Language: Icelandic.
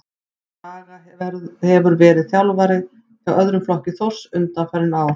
Dragan hefur verið þjálfari hjá öðrum flokki Þórs undanfarin ár.